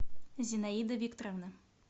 зинаида викторовна